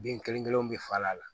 Den kelen kelen bɛ falen a la